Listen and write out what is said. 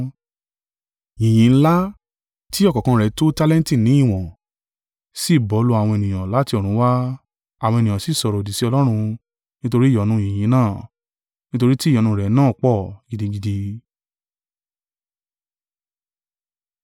Yìnyín ńlá, tí ọ̀kọ̀ọ̀kan rẹ̀ tó tálẹ́ǹtì ní ìwọ̀n, sì bọ́ lù àwọn ènìyàn láti ọ̀run wà, àwọn ènìyàn sì sọ̀rọ̀-òdì sí Ọlọ́run nítorí ìyọnu yìnyín náà; nítorí tí ìyọnu rẹ̀ náà pọ̀ gidigidi.